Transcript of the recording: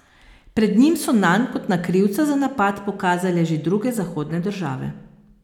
Pred njim so nanj kot na krivca za napad pokazale že druge zahodne države.